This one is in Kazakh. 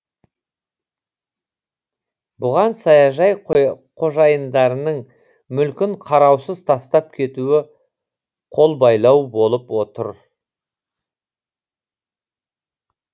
бұған саяжай қожайындарының мүлкін қараусыз тастап кетуі қолбайлау болып тұр